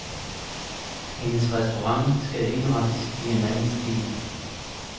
Hendes restaurant skal indrettes i en anden stil.